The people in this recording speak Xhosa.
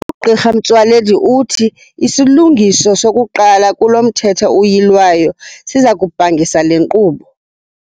UGq Motsoaledi uthi isilungiso sokuqala kulo Mthetho uyilwayo siza kubhangisa le nkqubo.